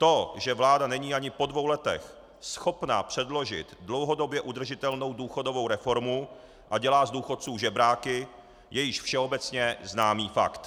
To, že vláda není ani po dvou letech schopna předložit dlouhodobě udržitelnou důchodovou reformu a dělá z důchodců žebráky, je již všeobecně známý fakt.